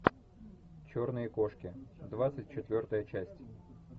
черные кошки двадцать четвертая часть